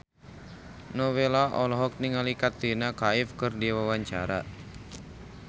Nowela olohok ningali Katrina Kaif keur diwawancara